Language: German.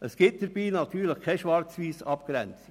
Es gibt dabei natürlich keine Schwarz-Weiss-Abgrenzung.